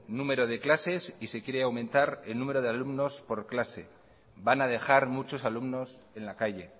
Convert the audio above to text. número de clases y se quiere aumentar el número de alumnos por clase van a dejar muchos alumnos en la calle